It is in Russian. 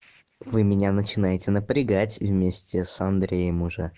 вы меня начинаете напрягать вместе с андреем уже